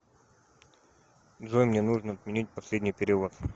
джой мне нужно отменить последний перевод